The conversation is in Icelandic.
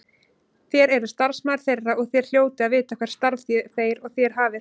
Þér eruð starfsmaður þeirra og þér hljótið að vita hvert starf þeir og þér hafið.